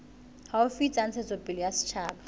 haufi tsa ntshetsopele ya setjhaba